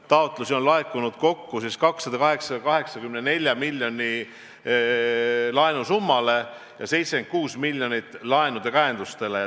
Taotlusi on laekunud kokku laenusummale 284 miljonit ja 76 miljoni peale laenukäenduste jaoks.